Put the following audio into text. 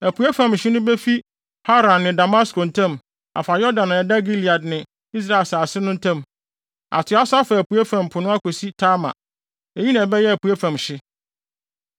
Apuei fam hye no befi Hauran ne Damasko ntam afa Yordan a ɛda Gilead ne Israel asase no ntam, atoa so afa apuei fam po no akosi Tamar. Eyi na ɛbɛyɛ apuei fam hye.”